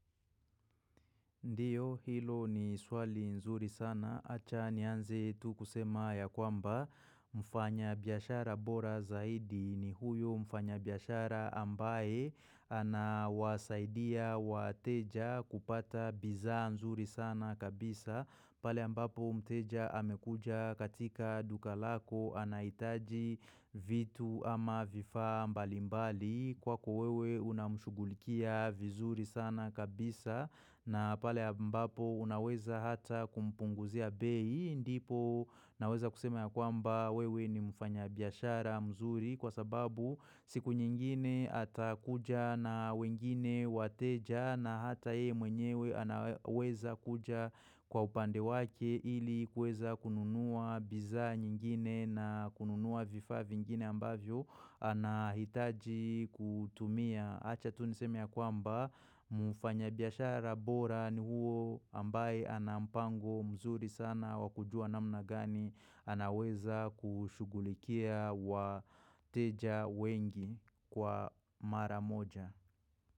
Ndio hilo ni swali nzuri sana acha nianze tu kusema ya kwamba mfanya biashara bora zaidi ni huyo mfanya biashara ambaye anawasaidia wateja kupata bidhaa nzuri sana kabisa pale ambapo mteja amekuja katika duka lako anahitaji vitu ama vifaa mbalimbali. Kwako wewe unamshughulikia vizuri sana kabisa na pale mbapo unaweza hata kumpunguzia bei ndipo naweza kusema ya kwamba wewe ni mfanya biashara mzuri Kwa sababu siku nyingine ata kuja na wengine wateja na hata ye mwenyewe anaweza kuja kwa upande wake ili kuweza kununua bidhaa nyingine na kununua vifaa vingine ambavyo anahitaji kutumia. Acha tu niseme ya kwamba mfanya biashara bora ni huo ambaye anampango mzuri sana wa kujua namna gani anaweza kushughulikia wateja wengi kwa mara moja.